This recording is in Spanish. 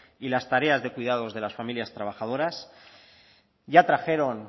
y las tareas de cuidados de las familias trabajadoras ya trajeron